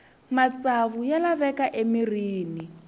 matsavu ya laveka emirhini